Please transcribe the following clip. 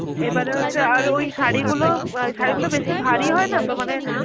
এবারে হচ্ছে আর ওই শাড়িগুলো অ্যাঁ শাড়ি গুলো বেশি ভারী হয়না তো মানে